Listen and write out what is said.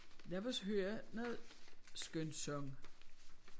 Lad os høre noget skønsang